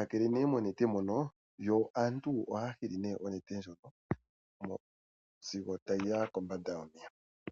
hakele monete.